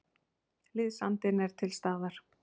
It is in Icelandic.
Liðsandinn er til staðar.